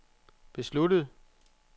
besluttet